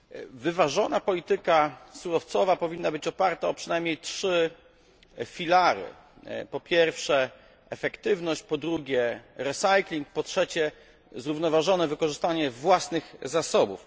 Wyważona polityka surowcowa powinna być oparta o przynajmniej trzy filary po pierwsze efektywność, po drugie recycling, po trzecie zrównoważone wykorzystanie własnych zasobów.